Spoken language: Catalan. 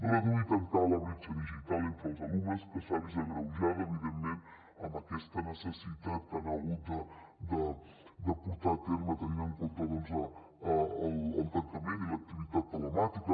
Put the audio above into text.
reduir i tancar la bretxa digital entre els alumnes que s’ha vist agreujada evidentment amb aquesta activitat que han hagut de portar a terme tenint en compte el tancament i l’activitat telemàtica